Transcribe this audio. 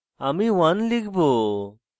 আমি 1 লিখব